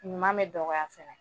Ɲuman mɛ dɔgɔya fɛnɛ